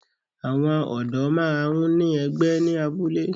Àwọn ọ̀dó máa ń ní ẹgbẹ́ ní abúlé